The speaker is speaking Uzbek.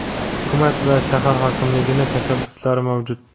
Hukumat va shahar hokimligining tashabbuslari mavjud.